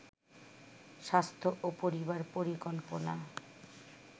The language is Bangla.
স্বাস্থ্য ও পরিবার পরিকল্পনা